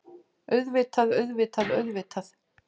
Auðvitað, auðvitað, auðvitað.